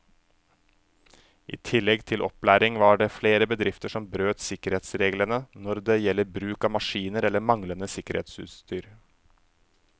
I tillegg til opplæring var det flere bedrifter som brøt sikkerhetsreglene når det gjelder bruk av maskiner eller manglende sikkerhetsutstyr.